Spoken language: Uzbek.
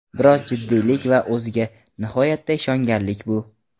Biroz jiddiylik va o‘ziga nihoyatda ishonganlik bu.